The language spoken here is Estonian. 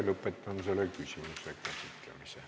Lõpetan selle küsimuse käsitlemise.